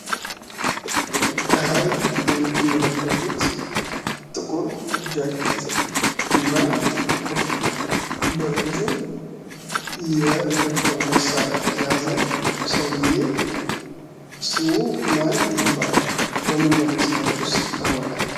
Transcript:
ከላይ የምትመለከቱት ጥቁር ጃኬት እና ጥቁር ኮፍያ በእጁ የኤርፎን መሳሪያ የያዙ ሰውየ ስሙ ማን ይባላል? በምን በምን ስራዎችስ ይታወቃል?